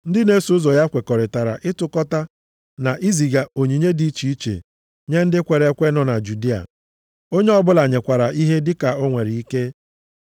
Ndị na-eso ụzọ ya kwekọrịtara ịtụkọta na iziga onyinye dị iche iche nye ndị kwere ekwe nọ na Judịa. Onye ọbụla nyekwara ihe dịka o nwere ike.